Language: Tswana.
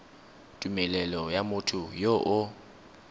tumelelo ya motho yo o